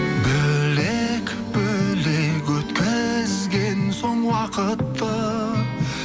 бөлек бөлек өткізген соң уақытты